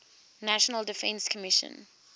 national defense commission